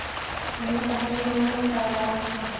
उन्हें तस्वीरों में उतार रहा है